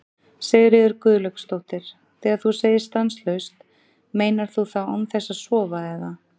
Sigríður Guðlaugsdóttir: Þegar þú segir stanslaust, meinar þú þá án þess að sofa eða?